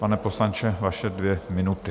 Pane poslanče, vaše dvě minuty.